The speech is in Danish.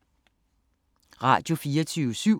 Radio24syv